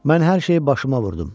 Mən hər şeyi başıma vurdum.